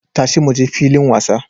Tashi muje filin wasa!